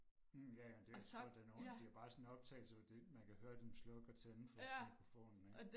Mh ja ja det jeg tror det nogen de har bare sådan en optagelse fordi man kan høre dem tænde og slukke for mikrofonen ikke